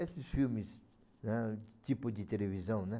Esses filmes, né, tipo de televisão, né?